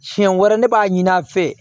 Siɲɛ wɛrɛ ne b'a ɲini an fɛ